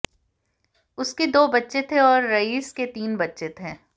उसके दो बच्चे थे और रईस के तीन बच्चे थे